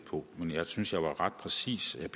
på men jeg synes jeg var meget præcis vil